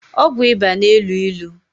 Ọgwụ ịba na- elu ilu